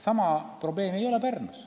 Sama probleemi näiteks Pärnus ei ole.